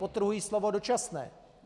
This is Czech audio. Podtrhuji slovo dočasné.